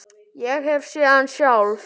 Ég hef séð hann sjálf!